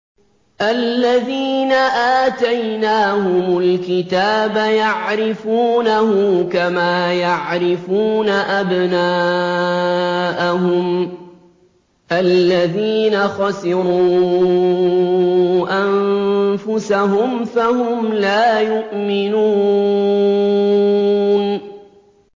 الَّذِينَ آتَيْنَاهُمُ الْكِتَابَ يَعْرِفُونَهُ كَمَا يَعْرِفُونَ أَبْنَاءَهُمُ ۘ الَّذِينَ خَسِرُوا أَنفُسَهُمْ فَهُمْ لَا يُؤْمِنُونَ